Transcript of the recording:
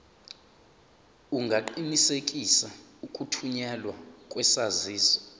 ungaqinisekisa ukuthunyelwa kwesaziso